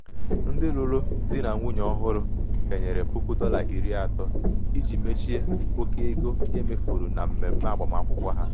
um ndị lụrụ di na nwunye ọhụrụ kenyere puku dọla iri atọ iji mechie oke um ego e mefuru na mmemme agbamakwụkwọ ha. um